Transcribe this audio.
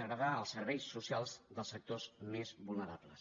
degradar els serveis socials dels sectors més vulnerables